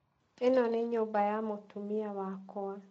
ĩno nĩ nyũmba ya mũtumia wakwa.